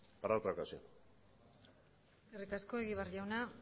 para otra ocasión eskerrik asko egibar jauna